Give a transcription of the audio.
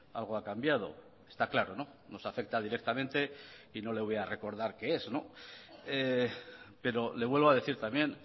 algo ha cambiado está claro nos afecta directamente y no le voy a recordar qué es pero le vuelvo a decir también